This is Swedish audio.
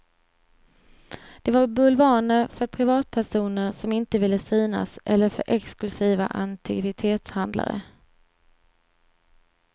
De var bulvaner för privatpersoner som inte ville synas eller för exklusiva antikvitetshandlare.